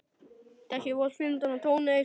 Var byrjað að bora þar